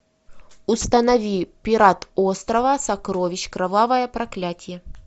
установи пират острова сокровищ кровавое проклятие